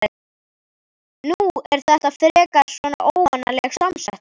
Nú er þetta frekar svona óvanaleg samsetning?